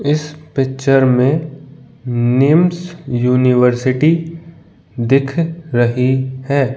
इस पिक्चर मे निम्स यूनिवर्सिटी दिख रही है।